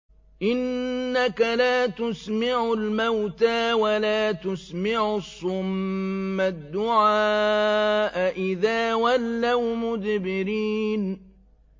إِنَّكَ لَا تُسْمِعُ الْمَوْتَىٰ وَلَا تُسْمِعُ الصُّمَّ الدُّعَاءَ إِذَا وَلَّوْا مُدْبِرِينَ